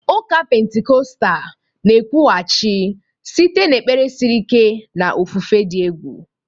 Ụka Pentikọstal na-ekwughachi site n'ekpere siri ike na ofufe dị egwu.